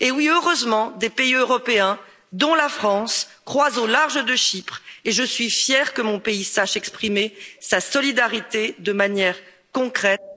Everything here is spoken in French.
Heureusement, des pays européens, dont la France, croisent au large de Chypre, et je suis fière que mon pays sache exprimer sa solidarité de manière concrète...